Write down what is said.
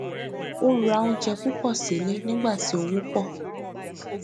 ó rà oúnjẹ púpò sílẹ nígbà tí owó pọ